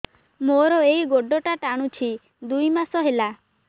ମୋର ଏଇ ଗୋଡ଼ଟା ଟାଣୁଛି ଦୁଇ ମାସ ହେଲା